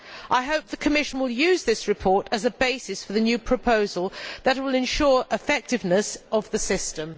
I hope the Commission will use the report as a basis for a new proposal that will ensure the effectiveness of the system.